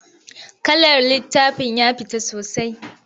Kalar littafin ya fita sosai.